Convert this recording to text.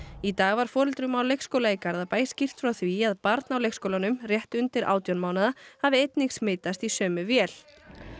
í dag var foreldrum á leikskóla í Garðabæ skýrt frá því að barn á leikskólanum rétt undir átján mánaða hafi einnig smitast í sömu vél